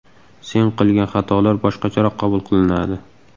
Sen qilgan xatolar boshqacharoq qabul qilinadi”.